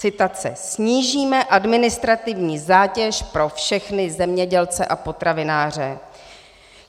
Citace: "Snížíme administrativní zátěž pro všechny zemědělce a potravináře."